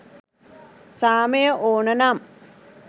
සාමය ඕන නම්